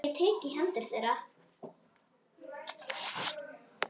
Ég tek í hendur þeirra.